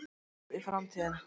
Spáð í framtíðina